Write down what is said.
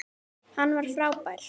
Hann var frábær.